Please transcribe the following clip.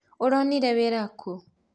ũronire wĩra kũ?